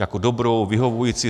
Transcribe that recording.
Jako dobrou, vyhovující?